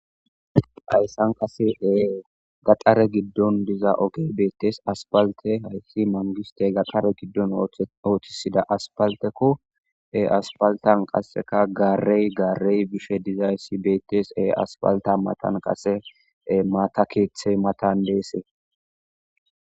hayssan qasee gaxare giddon diza oge beettes aspalte hayssi mangiste gaxare giddon ooththisida aspalteko e aspaltan qasseka gaarey garey bishe dizaayssi beettees e aspalta matan qasee maata keethey matan deese